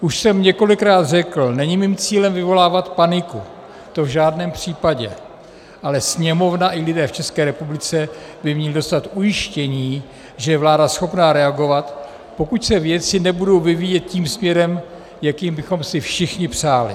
Už jsem několikrát řekl, není mým cílem vyvolávat paniku, to v žádném případě, ale Sněmovna i lidé v České republice by měli dostat ujištění, že je vláda schopna reagovat, pokud se věci nebudou vyvíjet tím směrem, jakým bychom si všichni přáli.